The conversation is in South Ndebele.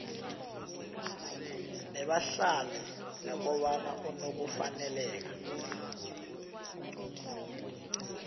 nebahlalini nokobana unokufaneleka